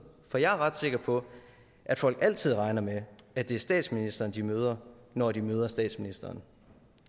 for jeg er ret sikker på at folk altid regner med at det er statsministeren de møder når de møder statsministeren